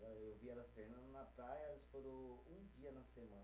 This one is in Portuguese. Eu vi elas treinando na praia, elas foram um dia na semana.